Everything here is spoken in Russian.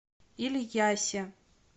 ильясе